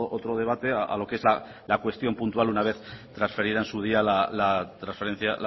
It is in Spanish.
otro debate a lo que es la cuestión puntual una vez transferida en su día la transferencia